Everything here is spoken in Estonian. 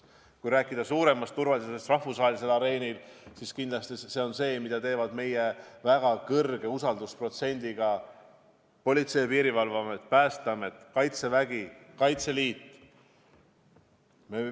Kui rääkida üldisest turvalisusest rahvusvahelisel areenil, siis kindlasti see on teema, millega tegelevad meie väga kõrge usaldusprotsendiga Politsei- ja Piirivalveamet, Päästeamet, Kaitsevägi, Kaitseliit.